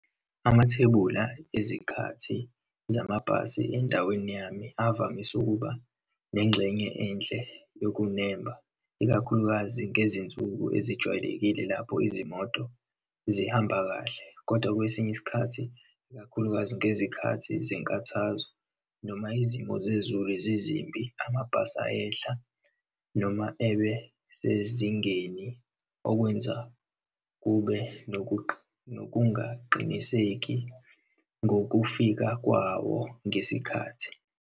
Amathebula ezikhathi zamabhasi endaweni yami avamise ukuba nengxenye enhle yokunemba, ikakhulukazi ngezinsuku ezijwayelekile, lapho izimoto zihamba kahle. Kodwa kwesinye isikhathi, ikakhulukazi ngezikhathi zenkathazo noma izimo zezulu zizimbi, amabhasi ayehla noma ebesezingeni okwenza kube nokungaqiniseki ngokufika kwawo ngesikhathi.